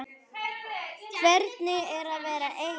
Hvernig er að vera ein?